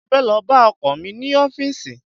Mo fẹ́ lọ bá ọkọ̀ mi ní ọfísì